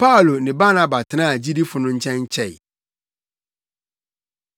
Paulo ne Barnaba tenaa gyidifo no nkyɛn kyɛe.